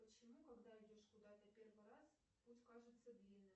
почему когда идешь куда то первый раз путь кажется длинным